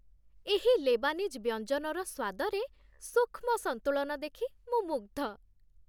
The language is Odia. ଏହି ଲେବାନିଜ୍ ବ୍ୟଞ୍ଜନର ସ୍ୱାଦରେ ସୂକ୍ଷ୍ମ ସନ୍ତୁଳନ ଦେଖି ମୁଁ ମୁଗ୍ଧ।